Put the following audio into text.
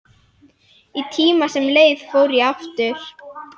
Í tíma sem leið fór ég aftur.